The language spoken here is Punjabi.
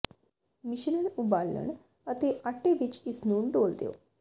ਮਿਸ਼ਰਣ ਉਬਾਲਣ ਅਤੇ ਆਟੇ ਵਿੱਚ ਇਸ ਨੂੰ ਡੋਲ੍ਹ ਦਿਓ